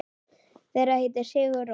Þeir heita Sigur Rós.